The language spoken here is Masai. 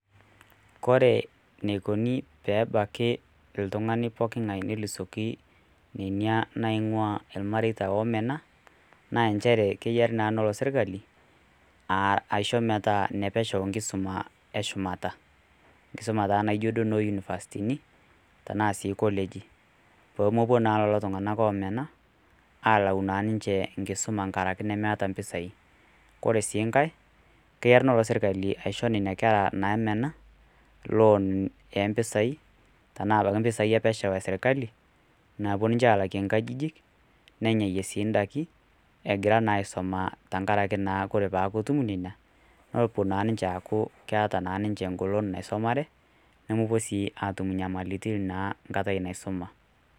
Kore neikuni pee ebaki ltung'ani pooking'ai neisulaki nena naing'waa ilmareita oomena, naa enchere kenare naa nelo sirkali aisho metaa nepesho nkisuma e shumata, enkisumaa taa duo iye duo noo unifastini, tanaa sii kolegi, pemepuo naa lelo tung'ana oomena alayu naa ninye enkisuma enkaraki nmeeta impisai. Kore sii nkai naa, keor naa taata sirkali aisho nena kera namena , loan oo mpesai, tanaa baiki mpesai e pesho e sirkali, naapuo ninche aalakie inkajijik, nnenyayie sii indaiki egira naa aisuma tenkaraki naa kore peaku ketum neina nepuo naa ninche aaku keaata naa ninche engolon naisumare, nemepuo naa aatau enyamali enkaitai naisuma.